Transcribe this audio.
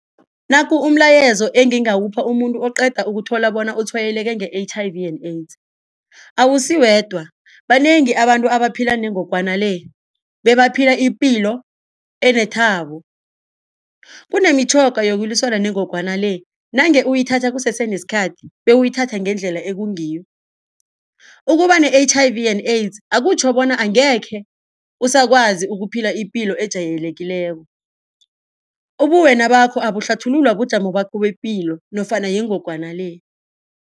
Naku umlayezo engingawupha umuntu oqeda ukuthola bona utshwayeleke nge-H_I_V and AIDS. Awusiwedwa banengi abantu abaphila nengogwana le bebaphila ipilo enethabo. Kunemitjhoga yokulwisana nengogwana le nange uyithatha kusesenesikhathi bewuyithathe ngendlela ekungiyo. Ukuba ne-H_I_V and AIDS akutjho bona angekhe uzakwazi ukuphila ipilo ejayelekileko. Ubuwena bakho abuhlathululwa bujamo bakho bepilo nofana yingogwana le.